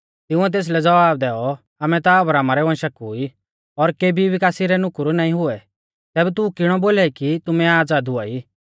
तिंउऐ तेसलै ज़वाब दैऔ आमै ता अब्राहमा रै वंशा कु ई और केबी भी कासी रै नुकुर नाईं हुऐ तैबै तू किणौ बोलाई कि तुमै आज़ाद हुआई